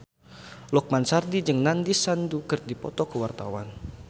Lukman Sardi jeung Nandish Sandhu keur dipoto ku wartawan